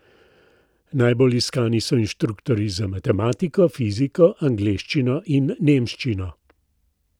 Najbolj iskani so inštruktorji za matematiko, fiziko, angleščino in nemščino.